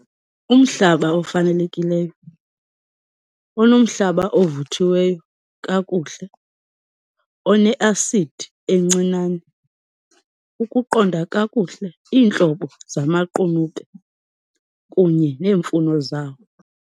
Umhlaba ofanelekileyo onomhlaba ovuthiweyo kakuhle, one-acid encinane ukuqonda kakuhle iintlobo zamaqunube kunye neemfuno zawo.